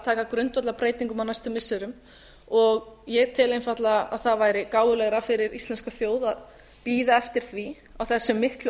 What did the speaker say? taka grundvallarbreytingum á næstu missirum og ég tel einfaldlega að það væri gáfulegra fyrir íslenska þjóð að bíða eftir því á þessum miklu